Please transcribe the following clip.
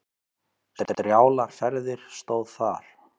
Strjálar ferðir stóð þar.